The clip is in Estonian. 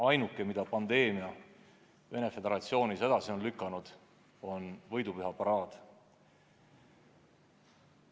Ainuke, mida pandeemia Venemaa Föderatsioonis edasi on lükanud, on võidupüha paraad.